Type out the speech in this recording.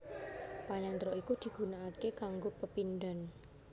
Panyandra iku digunaaké kanggo pepindhan